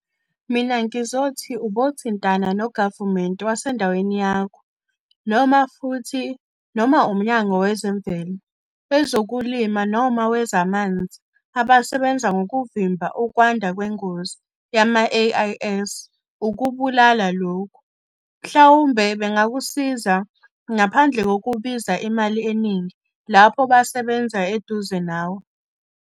Mina ngizothi ubothintana nogavumente wasendaweni yakho noma futhi noma umnyango wezemvelo, wezokulima noma wezamanzi abasebenza ngokuvimba ukwanda kwengozi yama-AIS ukubulala lokhu, mhlawumbe bangakusiza ngaphandle kokubiza imali eningi lapho basebenza eduze nawe.